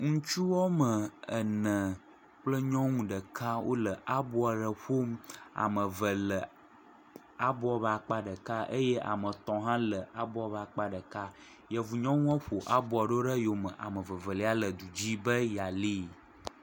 Ŋutsu woame ene kple nyɔnu ɖeka wole abo aɖe ƒom, ame eve le abo ƒe akpa ɖeka eye ame etɔ̃ hã le abo ƒe akpa ɖeka, yevu nyɔnuɔ ƒo aboa ɖo ɖe eyome, ame evelia le du dzi be yealée.